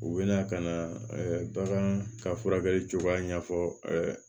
U bɛna ka na bagan ka furakɛli cogoya ɲɛfɔ